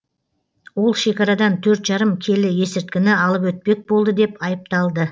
ол шекарадан төрт жарым келі есірткіні алып өтпек болды деп айыпталды